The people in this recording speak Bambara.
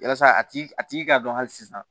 Yasa a tigi a tigi k'a dɔn hali sisan